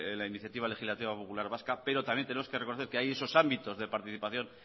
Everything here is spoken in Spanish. la iniciativa legislativa popular vasca pero también tenemos que reconocer que hay esos ámbitos de participación